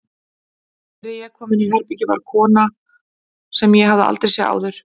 Þegar ég kom inní herbergið var þar fyrir kona sem ég hafði aldrei séð áður.